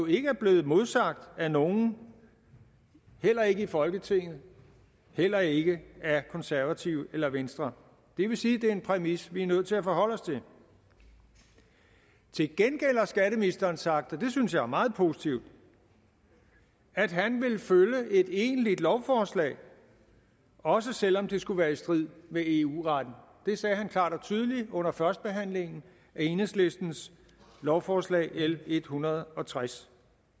ikke er blevet modsagt af nogen heller ikke i folketinget heller ikke af konservative eller venstre det vil sige at det er en præmis vi er nødt til at forholde os til til gengæld har skatteministeren sagt og det synes jeg er meget positivt at han vil følge et egentligt lovforslag også selv om det skulle være i strid med eu retten det sagde han klart og tydeligt under førstebehandlingen af enhedslistens lovforslag l en hundrede og tres